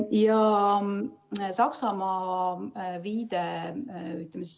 Ja Saksamaa viide.